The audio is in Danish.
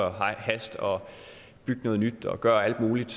og hast og bygge noget nyt og gøre alt muligt